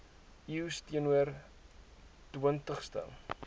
eeus teenoor twintigste